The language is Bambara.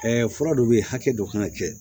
fura dɔ bɛ yen hakɛ dɔ kan ka kɛ